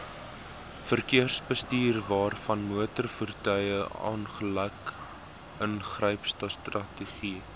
verkeersbestuurwaarvanmotorvoertuig ongeluk ingrypstrategie